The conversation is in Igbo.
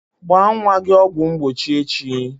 Gbaa nwa gị ọgwụ mgbochi echi!